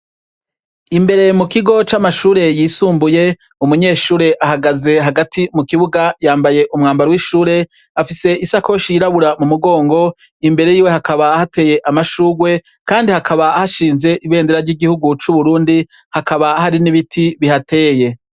Imbere mukigo camashure yisumbuye umunyeshure ahagaze Hagati mukibuga yambaye umwambaro wishure afise isakoshe yiraburabura mumugongo, imbere yiwe Hakaba hateye amashurwe Kandi Hakaba hashinze imbendera ryi gihugu cu Burundi ,hakaba hari nibiti bihateye.